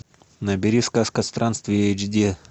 набери сказка странствия эйч ди